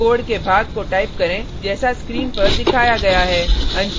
निम्नलिखित कोड के भाग को टाइप करें जैसा स्क्रीन पर दिखाया गया है